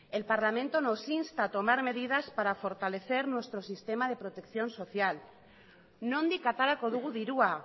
el parlamento nos insta a tomar medidas para fortalecer nuestro sistema de protección social nondik aterako dugu dirua